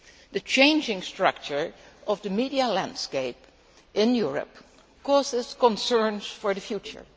The changing structure of the media landscape in Europe causes concern for the future.